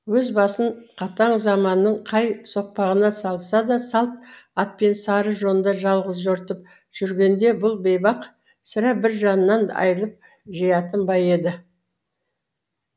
өз басын қатал заманның қай соқпағына салса да салт атпен сары жонда жалғыз жортып жүргенде бұл бейбақ сірә бір жаннан айырылып жиятын ба еді